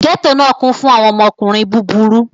Gẹto náà kún fún àwọn ọmọkùnrin búburú.